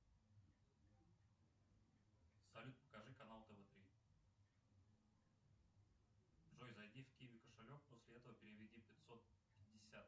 салют покажи канал тв три джой зайди в киви кошелек после этого переведи пятьсот пятьдесят